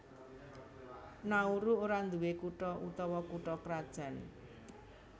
Nauru ora nduwé kutha utawa kutha krajan